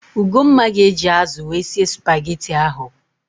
Ugomma ga-eji ázụ̀ wee sie spageti ahụ.